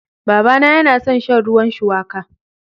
Babana yana son shan ruwan shuwaka.